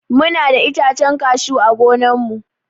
Muna da itacen cashew ã gonan mu.